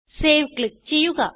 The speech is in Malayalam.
സേവ് ക്ലിക്ക് ചെയ്യുക